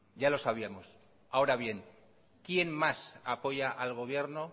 ya lo sabíamos ahora bien quien más apoya al gobierno